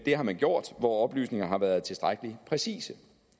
har man gjort hvor oplysningerne har været tilstrækkelig præcise